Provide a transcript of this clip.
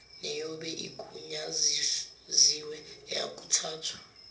neyobe igunyaziwe iyakuthathwa